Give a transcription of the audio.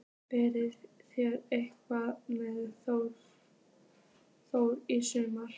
Verða þeir eitthvað með Þrótti í sumar?